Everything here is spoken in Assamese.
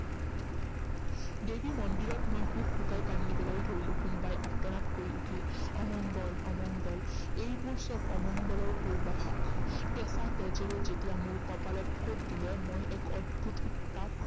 দেৱী মন্দিৰত মই হুকহুকাই কান্দিবলৈ ধৰিলো। কোনোবাই আৰ্তনাদ কৰি উঠিল, অমংগল, অমংগল, এইবোৰ চব এমংগলৰ পূৰ্বাভাস। কেঁচা তেজেৰে যেতিয়া মোৰ কপালত ফোট দিলে মই এক অদ্ভুত উত্তাপ